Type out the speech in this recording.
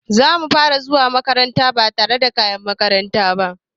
Zamu fara zuwa makaranta ba tare da kayan makaranta ba.